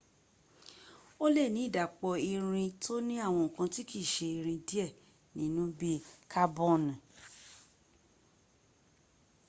o le ni idapọ iriin to ni awọn nkan ti kii ṣe irin diẹ ninu bii kabọni